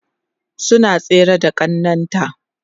suna tsere da ƙannan ta